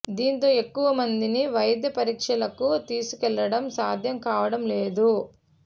దీంతో ఎక్కువ మందిని వైద్య పరీక్షలకు తీసుకువెళ్ళడం సాధ్యం కావడం లేదు